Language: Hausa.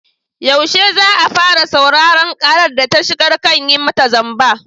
Yaushe za a fara sauraron ƙarar da ta shigar kan yi mata zamba?